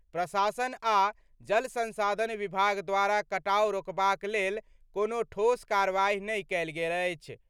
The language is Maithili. प्रशासन आ जल संसाधन विभाग द्वारा कटाव रोकबाक लेल कोनो ठोस कार्रवाई नहि कएल गेल अछि।